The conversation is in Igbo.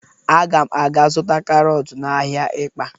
Aga m aga zụta karọt n'ahịa Ịkpa.